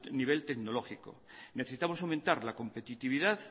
nivel tecnológico necesitamos aumentar la competitividad